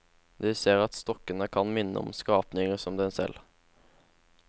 De ser at stokkene kan minne om skapninger som dem selv.